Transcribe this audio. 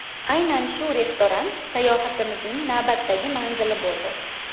Aynan shu restoran sayohatimizning navbatdagi manzili bo‘ldi.